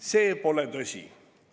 See pole tõsi.